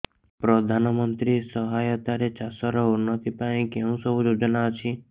ପ୍ରଧାନମନ୍ତ୍ରୀ ସହାୟତା ରେ ଚାଷ ର ଉନ୍ନତି ପାଇଁ କେଉଁ ସବୁ ଯୋଜନା ଅଛି